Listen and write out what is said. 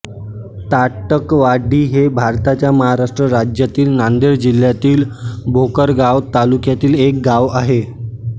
ताटकळवाडी हे भारताच्या महाराष्ट्र राज्यातील नांदेड जिल्ह्यातील भोकर गाव तालुक्यातील एक गाव आहे